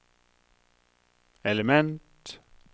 element